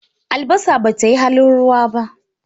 Albasa, bata yi halin ruwa ba.